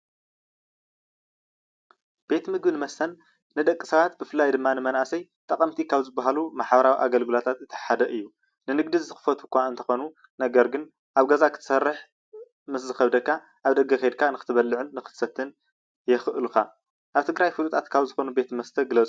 ቤት ምግብን መስተን ንደቂሰባት ብፍላይ ድማ ንመናእሰይ ጠቐምቲ ካብ ዝበሃሉ ማሕበራዊ ኣገልግሎታት እቲ ሓደ እዩ። ንንግዲ ዝኽፈቱ እዃ እንተኾኑ ነገር ግን ኣብ ገዛኻ ክትሰርሕ ምስዝኸብደካ ኣብ ደገ ኬድካ ንክትበልዕን ንክትሰትን የኽእሉኻ። ኣብ ትግራይ ፍሉጣት ካብ ዝኾኑ ቤት መስተ ግለፁ?